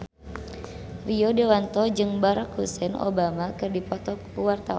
Rio Dewanto jeung Barack Hussein Obama keur dipoto ku wartawan